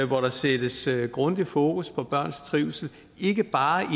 hvor der sættes grundigt fokus på børns trivsel ikke bare